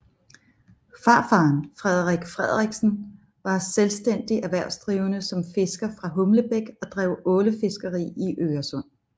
Farfaren Frederik Frederiksen var selvstændig erhvervsdrivende som fisker fra Humlebæk og drev ålefiskeri i Øresund